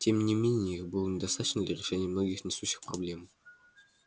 тем не менее их было недостаточно для решения многих насущных проблем